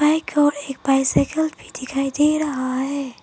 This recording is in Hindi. एक और एक बाइसइकल भी दिखाई दे रहा है।